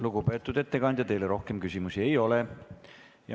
Lugupeetud ettekandja, teile rohkem küsimusi ei ole.